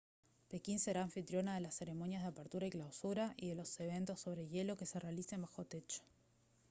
pekín será anfitriona de las ceremonias de apertura y clausura y de los eventos sobre hielo que se realicen bajo techo